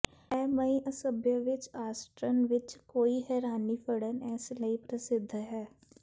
ਇਹ ਮਈ ਅਸੱਭਯ ਵਿਚ ਆਸ੍ਟ੍ਰਕਨ ਵਿੱਚ ਕੋਈ ਹੈਰਾਨੀ ਫੜਨ ਇਸ ਲਈ ਪ੍ਰਸਿੱਧ ਹੈ